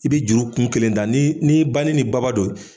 I bi juru kun kelen da ni banin ni baba don.